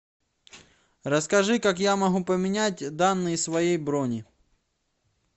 расскажи как я могу поменять данные своей брони